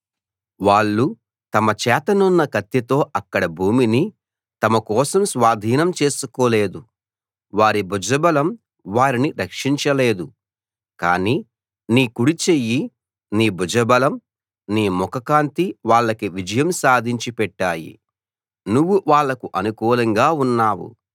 వాళ్ళు తమ చేతనున్న కత్తితో అక్కడి భూమిని తమ కోసం స్వాధీనం చేసుకోలేదు వారి భుజబలం వారిని రక్షించలేదు కానీ నీ కుడి చెయ్యి నీ భుజబలం నీ ముఖకాంతి వాళ్ళకి విజయం సాధించిపెట్టాయి నువ్వు వాళ్ళకు అనుకూలంగా ఉన్నావు